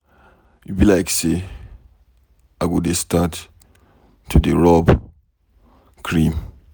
E be like say I go dey start to dey rub cream.